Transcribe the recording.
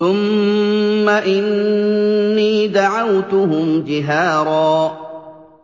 ثُمَّ إِنِّي دَعَوْتُهُمْ جِهَارًا